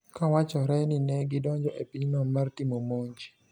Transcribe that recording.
Ka wachore ni ne gidonjo e pinyno mar timo monj